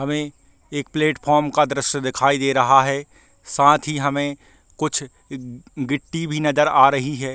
हमे एक प्लेटफॉर्म का दृश्ये दिखाई दे रहा है साथ ही हमे कुछ गी गिट्टी भी नज़र आ रही है।